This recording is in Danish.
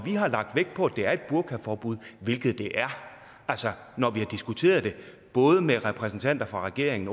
har lagt vægt på at det er et burkaforbud hvilket det er altså når vi har diskuteret det både med repræsentanter for regeringen